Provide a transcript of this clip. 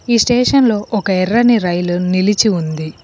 ఈ స్టేషన్లో ఒక ఎర్రని రైల్ నిలిచి ఉంది.